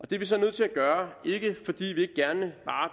det er vi så nødt til at gøre ikke fordi vi